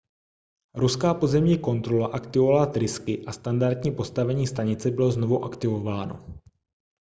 ruská pozemní kontrola aktivovala trysky a standardní postavení stanice bylo znovu aktivováno